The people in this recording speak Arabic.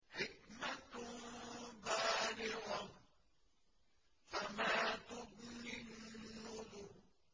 حِكْمَةٌ بَالِغَةٌ ۖ فَمَا تُغْنِ النُّذُرُ